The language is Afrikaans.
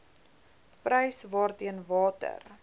prys waarteen water